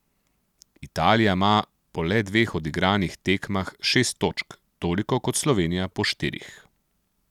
Italija ima po le dveh odigranih tekmah šest točk, toliko kot Slovenija po štirih.